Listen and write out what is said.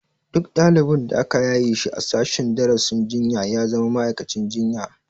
Duk ɗalibin da aka yaye a sashen darasin jinya ya zama ma'aikacin jinya